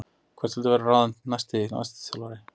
Hver viltu að verði ráðinn næsti landsliðsþjálfari?